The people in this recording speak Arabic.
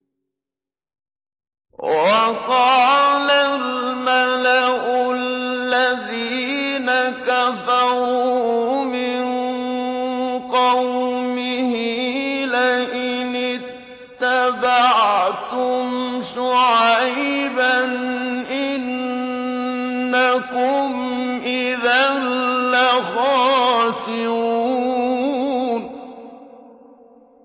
وَقَالَ الْمَلَأُ الَّذِينَ كَفَرُوا مِن قَوْمِهِ لَئِنِ اتَّبَعْتُمْ شُعَيْبًا إِنَّكُمْ إِذًا لَّخَاسِرُونَ